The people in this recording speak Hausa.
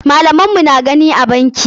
Malaman mu na gani a banki.